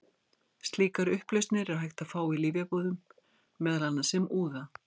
Slíkar upplausnir er hægt að fá í lyfjabúðum, meðal annars sem úða.